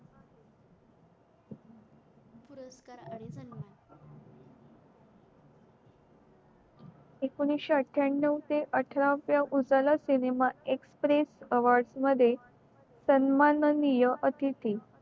एकोणीशे आठन्याव ते अठराव्या सिनेमा express awards मध्ये सन्मानीय अतिथी